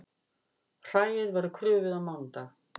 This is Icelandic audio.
Hræið verður krufið á mánudag